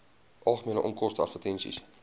algemene onkoste advertensies